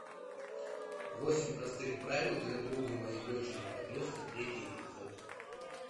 восемь простых правил для друга моей дочери подростка третий эпизод